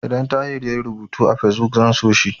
Idan Tahir yayi rubutu a Fesbuk, zan so shi.